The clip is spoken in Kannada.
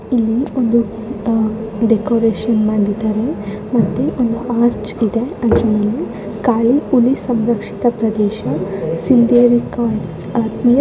ಇದೊಂದು ದೊಡ್ಡದು ಡ್ಯಾಮು ಇದರ ಮೇಲೆ ಕಟ್ಟೆಯೆಲ್ಲ ಇದ್ದಾವೆ ಇಲ್ಲಿ ಜನರು ಇದ್ದಾರೆ ಒಳಗಡೆ ದೋಣಿ ಬೋಟು ಹಡಗು ಎಲ್ಲ ಇದ್ದಾವೆ.